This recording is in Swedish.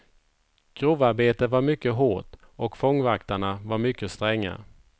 Grovarbetet var mycket hårt och fångvaktarna var mycket stränga.